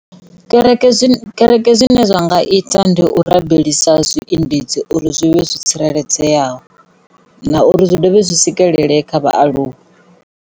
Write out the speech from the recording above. Kereke kereke zwine zwa nga ita ndi u rabelisa zwiendedzi uri zwi vhe zwi tsireledzeaho na uri zwi dovhe zwi swikelele kha vhaaluwa.